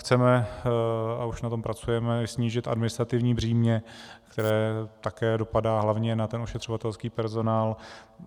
Chceme, a už na tom pracujeme, snížit administrativní břímě, které také dopadá hlavně na ten ošetřovatelský personál.